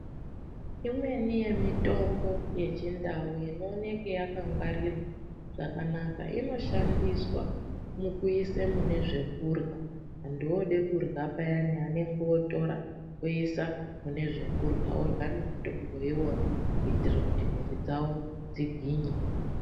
Imweni yemitombo yechindau inooneke yakangwarirwa zvakanaka, inoshandiswa mukuise mune zvekurya, muntu wooda kurya payani ootora oisa mune zvekurya orya nemutombo kuitira kuti miviri dzavo dzigwinye.